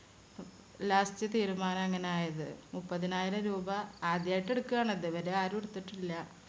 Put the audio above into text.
Last തീരുമാനം അങ്ങനെ ആയത്. മുപ്പതിനായിരം രൂപ. ആദ്യായിട്ട് എടുക്കാണ് അത് ഇതുവരെ ആരും എടുത്തിട്ടില്ല.